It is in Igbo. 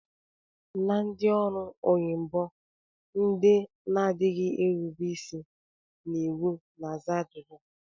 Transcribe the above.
Na ndị ọrụ onyibo, ndị na-adịghị erube isi n'iwu na-aza ajụjụ